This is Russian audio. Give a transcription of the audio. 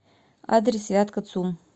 адрес вятка цум